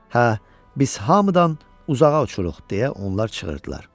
Hə, biz hamıdan uzağa uçuruq, deyə onlar çığırdılar.